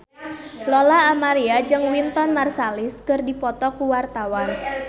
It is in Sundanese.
Lola Amaria jeung Wynton Marsalis keur dipoto ku wartawan